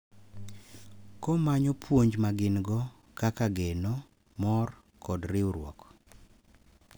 Komanyo puonj ma gin-go kaka geno, mor, kod riwruok.